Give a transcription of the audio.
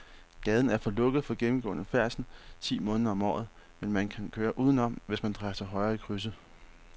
Gaden er lukket for gennemgående færdsel ti måneder om året, men man kan køre udenom, hvis man drejer til højre i krydset.